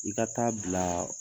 I ka taa bilaa